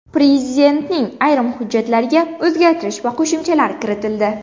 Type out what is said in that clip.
Prezidentning ayrim hujjatlariga o‘zgartirish va qo‘shimchalar kiritildi.